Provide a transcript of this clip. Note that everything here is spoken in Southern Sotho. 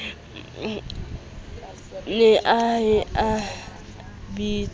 ne a ye a bitswe